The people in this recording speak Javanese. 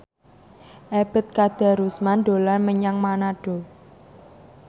Ebet Kadarusman dolan menyang Manado